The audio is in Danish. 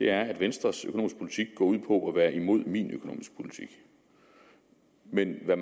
er at venstres økonomiske politik går ud på at være imod min økonomiske politik men hvad